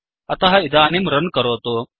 अतः इदानीं रन् करोतु